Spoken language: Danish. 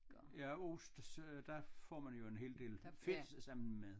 Ja ost så der får man jo en hel del fedt sammen med